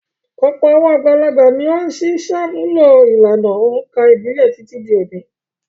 Ọ̀pọ̀ àwọn àgbàlagbà ni ó ṣì ń ṣàmúlò ìlànà òǹkà ìbílẹ̀ títí di òní.